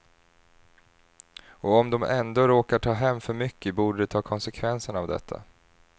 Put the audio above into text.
Och om de ändå råkar ta hem för mycket borde de ta konsekvenserna av detta.